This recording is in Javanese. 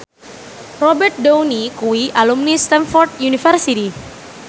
Robert Downey kuwi alumni Stamford University